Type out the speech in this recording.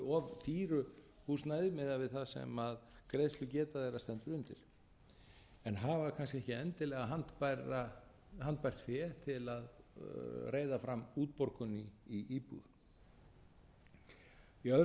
og búa í of dýru húsnæði miðað við það sem greiðslugeta þeirra stendur undir en hafa kannski ekki endilega handbært fé til að reiða fram útborgun í íbúð í öðru